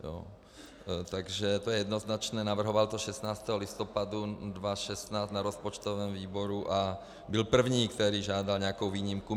Takže to je jednoznačné, navrhoval to 16. listopadu 2016 na rozpočtovém výboru a byl první, který žádal nějakou výjimku.